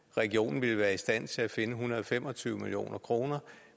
regionen ville være i stand til at finde en hundrede og fem og tyve million kr